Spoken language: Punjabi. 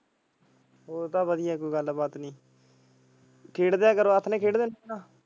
ਹੋਰ ਤਾਂ ਵਧੀਆ ਕੋਈ ਗੱਲਬਾਤ ਨੀ ਖੇਡ ਲਿਆ ਕਰੋ ਆਥਣੇ ਖੇਡ ਦੇ।